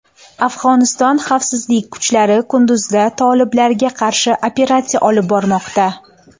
Afg‘oniston xavfsizlik kuchlari Qunduzda toliblarga qarshi operatsiya olib bormoqda.